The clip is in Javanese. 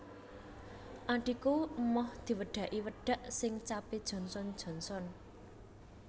Adhiku emoh diwedaki wedak sing cap e Johnson Johnson